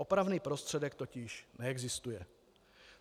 Opravný prostředek totiž neexistuje.